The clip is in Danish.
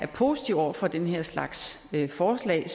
positive over for den her slags forslag